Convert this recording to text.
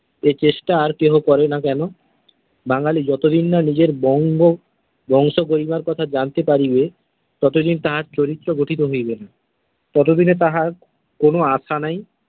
এই চেষ্টা আর কেহ করে না কেন? বাঙালি যতদিন না নিজের বঙ্গ বংশ গরিমার কথা জানতে পারিবে ততদিন তাঁহার চরিত্র গঠিত হইবে না। ততদিনে তাঁহার কোন আশা নাই।